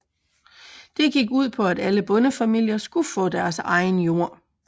Det gik ud på at alle bondefamilier skulle få deres egen jord